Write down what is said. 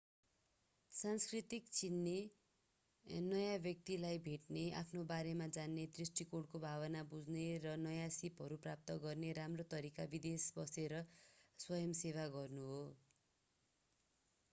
संस्कृति चिन्ने नयाँ व्यक्तिलाई भेट्ने आफ्नै बारेमा जान्ने दृष्टिकोणको भावना बुझ्ने र नयाँ सीपहरू प्राप्त गर्ने राम्रो तरिका विदेश बसेर स्वयं सेवा गर्नु हो